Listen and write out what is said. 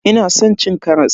Ina san cin karas.